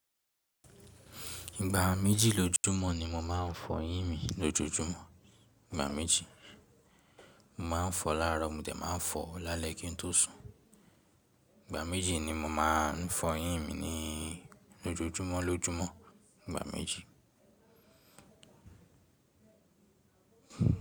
Ìgbà méjì lójúmọ́ ni mo máa ń fọyín mi lójoojúmọ́. Ìgbà méjì. Mo máa ń fọ laáro mo dẹ̀ máa ń fọ lálẹ́ kí n tó sùn. Ìgbà méjì ni mo máa ń fọyín mi ní lójoojúmọ́ lójúmọ́. Ìgbà méjì.